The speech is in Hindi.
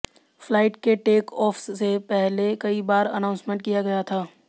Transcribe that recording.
फ्लाइट के टेक ऑफ से पहले कई बार अनाउंसमेंट किया गया था